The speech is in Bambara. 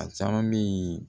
A caman bɛ yen